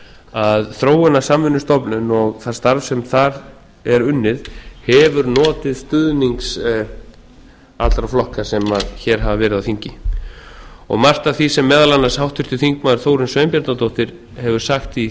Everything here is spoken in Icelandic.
að þróunarsamvinnustofnun og það starf sem þar er unnið hefur notið stuðnings allra flokka sem hér hafa verið á þingi margt af því sem meðal annars háttvirtur þórunn sveinbjarnardóttir hefur sagt